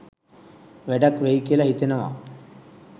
වැඩක් වෙයි කියලා හිතෙනවා